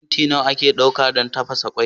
Minti nawa ake ɗauka don tafasa kwai?